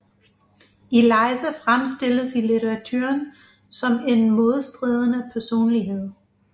Eliza fremstilles i litteraturen som en modstridende personlighed